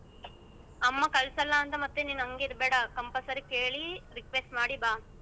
ಅಮ್ಮ ಕಳ್ಸಲ್ಲ ಮತ್ತೆ ಹಂಗೆ ಇರ್ಬೇಡ compulsory ಕೇಳಿ request ಮಾಡಿ ಬಾ.